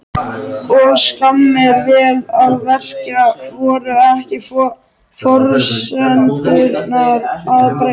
Og skammir, vel að merkja. voru ekki forsendurnar að breytast?